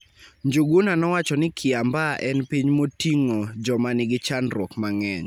Njuguna nowacho ni Kiambaa en piny moting joma nigi chandruok mang'eny